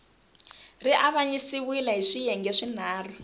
ri avanyisiwile hi swiyenge swinharhu